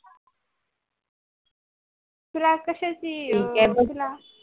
तुला कशाची